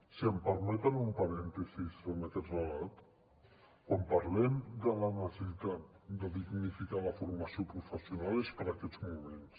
si em permeten un parèntesi en aquest relat quan parlem de la necessitat de dignificar la formació professional és per aquests moments